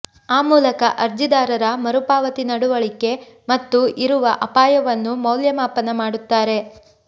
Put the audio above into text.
ಆ ಮೂಲಕ ಅರ್ಜಿದಾರರ ಮರುಪಾವತಿ ನಡವಳಿಕೆ ಮತ್ತು ಇರುವ ಅಪಾಯವನ್ನು ಮೌಲ್ಯಮಾಪನ ಮಾಡುತ್ತಾರೆ